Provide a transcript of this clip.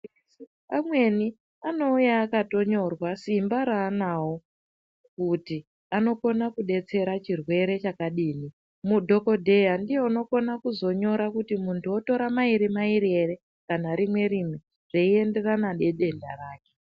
Amweni anouya akatonyorwa simba raanawo kuti anokona kudetsera chirwere chakadini, mudhokodheya ndiye unokona kuzonyora kuti muntu otora mairi mairi ere kana rimwe rimwe zveienderana nedenda rake.